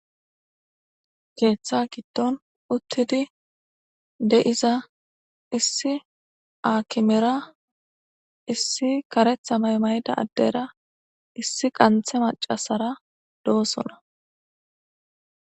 Ketha gidon utid de'za issi akimera issi karetha mayo mayida adera issi qantha macasara dosona.